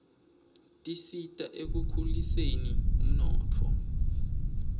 tisita ekukhuliseni umnotfo